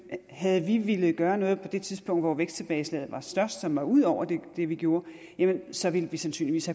havde vi villet gøre noget på det tidspunkt hvor væksttilbageslaget var størst som var ud over det vi gjorde jamen så ville vi sandsynligvis